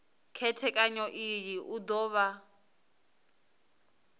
khethekanyo iyi u do vha